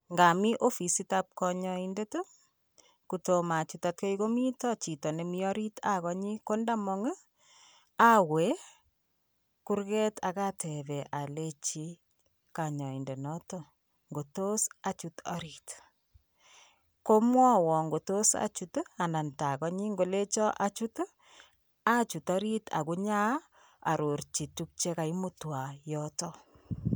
ngami ofisitab kanyoindet, kotomachut ate komito chito nemi orit akanyi kondamong, awe kurget akatebe aleji kanyoindenoto ngotos achut orit. komwowon ngotos achut anan takanyi ngolecho achut, achut arit akunyaa arorchi tuk che kaimutwan yoto